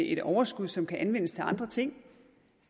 et overskud som kan anvendes til andre ting